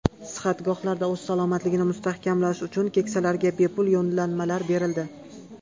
Sihatgohlarda o‘z salomatligini mustahkamlashi uchun keksalarga bepul yo‘llanmalar berildi.